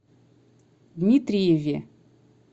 дмитриеве